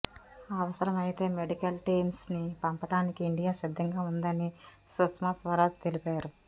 అవసరం అయితే medical teams ని పంపటానికి ఇండియా సిధ్ధంగా ఉందని సుష్మాస్వరాజ్ తెలిపారు